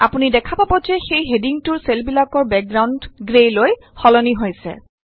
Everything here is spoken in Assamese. আপুনি দেখা পাব যে সেই হেডিঙটোৰ চেলবিলাকৰ বেকগ্ৰাউণ্ড গ্ৰেলৈ সলনি হৈছে